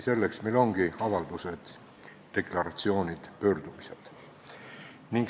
Selleks ongi meil avaldused, deklaratsioonid ja pöördumised.